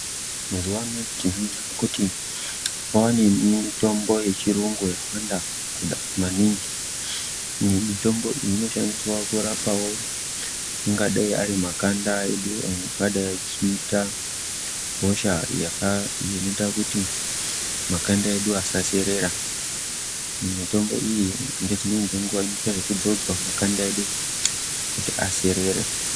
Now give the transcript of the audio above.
Mazuwano tinoona kuti kwavane mitombo yechirungu yawanda kuda maningi nemitombo iyi inoshandiswa kurapawo angadai arimakanda edu angadai achiita hosha yaka iyo inoita kuti makanda edu asaserera mitombo iyi ngeguwa dzimweni inoita zvekudzodzwa kuti makanda edu kuti aserere.